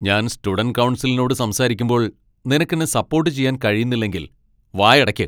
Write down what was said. ഞാൻ സ്റ്റുഡന്റ് കൗൺസിലിനോട് സംസാരിക്കുമ്പോൾ നിനക്ക് എന്നെ സപ്പോട്ട് ചെയ്യാൻ കഴിയുന്നില്ലെങ്കിൽ, വായടയ്ക്ക്.